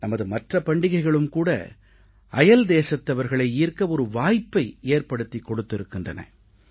நமது மற்ற பண்டிகைகளும் கூட அயல் தேசத்தவர்களை ஈர்க்க ஒரு வாய்ப்பை ஏற்படுத்திக் கொடுத்திருக்கின்றன